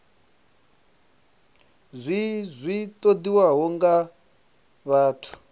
zwi zwi ṱoḓiwaho nga vhathu